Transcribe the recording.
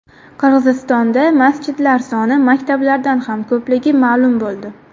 Qirg‘izistonda masjidlar soni maktablardan ham ko‘pligi ma’lum bo‘ldi.